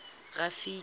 rafiki